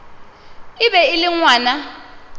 e be e le ngwana